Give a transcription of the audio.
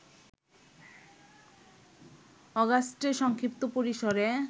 অগাস্টে সংক্ষিপ্ত পরিসরে